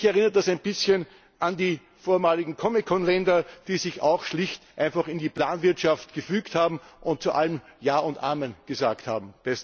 Mich erinnert das ein bisschen an die vormaligen COMECON Länder, die sich auch schlicht und einfach in die Planwirtschaft gefügt haben, und zu allem Ja und Amen gesagt haben.